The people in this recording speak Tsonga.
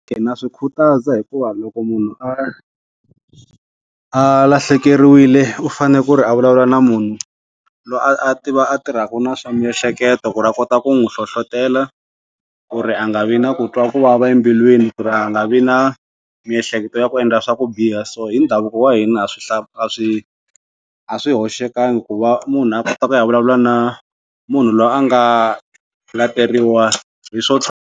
Ndza swi khutaza hikuva loko munhu a a lahlekeriwile u fane ku ri a vulavula na munhu loyi a a a tiva a tirhaku na swa miehleketo ku ri a kota ku n'wi hlohlotela ku ri a nga vi na ku twa ku vava embilwini ku ri a nga vi na miehleketo ya ku endla swa ku biha so hi ndhavuko wa hina a swi hla ha swi a swi hoxekangi ku va munhu a kota ku ya vulavula na munhu loyi a nga hi swo .